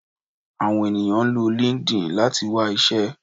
Àwọn ènìyàn ń lo Linkedin láti wá iṣẹ́